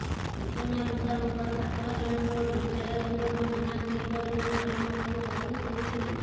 ସୂଚନା ମୁତାବକ ଛାତ୍ର ଜଣଙ୍କ ବିଦ୍ୟାଳୟ ଯିବାକୁ ମନା କରିବାରୁ ଘରଲୋକ ତାକୁ ବାଧ୍ୟ କରିଥିଲେ